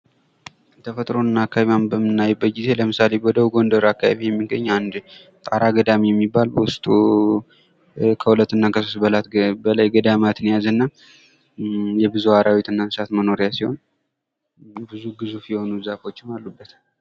የተፈጥሮ እና አካባቢዋን በምናይበት ጊዜ ለምሳሌ በደቡብ ጎንደር አካባቢ የሚገኝ አንድ ጣራ ገዳም የሚባል ውስጡ ከሁለትና ከሦስት በላይ ገዳማት የያዘ እና የብዙ አራዊትና እንስሳት መኖሪያ ሲሆን፤ ብዙ ግዙፍ የሆኑ ዛፎችም አሉበት።